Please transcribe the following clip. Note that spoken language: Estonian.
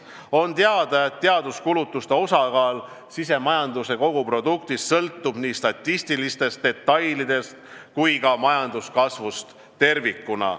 On teada, et teaduskulutuste osakaal SKP-s sõltub nii statistilistest detailidest kui ka majanduskasvust tervikuna.